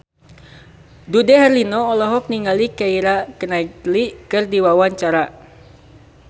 Dude Herlino olohok ningali Keira Knightley keur diwawancara